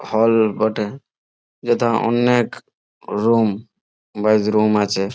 হল বটে। যেথা অন্যের রুম । বা রুম আছে।